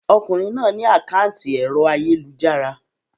Ọkùnrin náà ní àkátì ẹ̀rọ ayélujára.